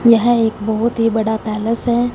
यह एक बहोत ही बड़ा पैलेस है।